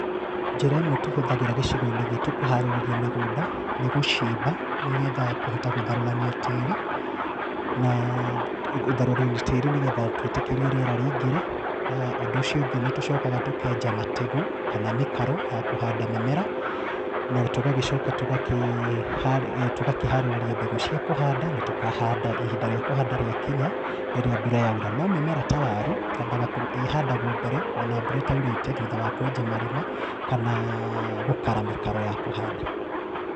Njĩra ĩmwe tũhuthagĩra gĩcigoĩnĩ gitũ kũharĩrĩria mĩgũnda nĩ gúcimba nĩgetha kũhota gũtharũrania tĩri na gũtharũrania tĩri nĩgetha twĩtĩkĩrie rĩera rĩingĩre, ũndũ ũcio ũngĩ tũcokaga tũkenja mategũ kana mĩkaro ya kũhanda mĩmera na tũgagĩcoka tũkaharĩrĩria mbegũ cia kũhanda na tũkahanda ihinda rĩa kũhanda rĩa kinya rĩrĩa mbura yaura, nomĩmera ta waru ĩhandagwo mbere thutha wa kwenja marima kana gukara mĩkaro ya kũhanda.